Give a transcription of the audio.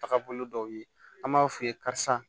Taga bolo dɔw ye an b'a f'u ye karisa